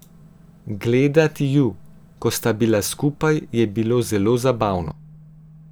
Gledati ju, ko sta bila skupaj, je bilo zelo zabavno.